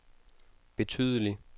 betydelig